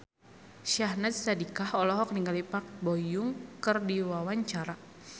Syahnaz Sadiqah olohok ningali Park Bo Yung keur diwawancara